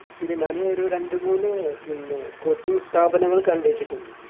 പിന്നെ ഞാന് ഒരു രണ്ടുമൂന്ന് പിന്നെ coaching സ്ഥാപനങ്ങൾ കണ്ടുവെച്ചിട്ടുണ്ട്